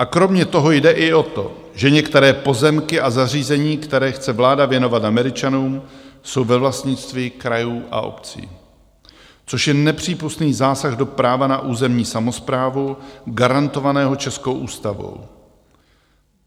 A kromě toho jde i o to, že některé pozemky a zařízení, které chce vláda věnovat Američanům, jsou ve vlastnictví krajů a obcí, což je nepřípustný zásah do práva na územní samosprávu garantovaného českou ústavou.